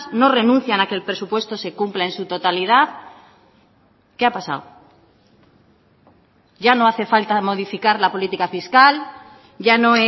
no renuncian a que el presupuesto se cumpla en su totalidad qué ha pasado ya no hace falta modificar la política fiscal ya no